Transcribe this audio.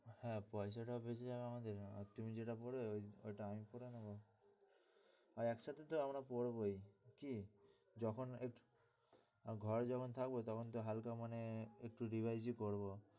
হ্যাঁ পয়সাটাও বেঁচে যাবে আমাদের আর তুমি যেটা পড়লে ওইটা আমি পড়ে নেবো। আর একসাথে তো আমরা পড়বই। কি, যখন আর ঘরে যখন থাকবো তখন তো হালকা মনে একটূ revise ও করবো